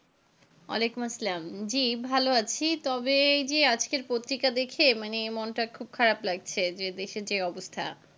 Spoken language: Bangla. ওয়ালাইকুম আসসালাম. জী ভালো আছি, তবে এই যে আজকের পত্রিকা দেখে, মানে মনটা খুব খারাপ লাগছে যে দেশের যে অবস্থা.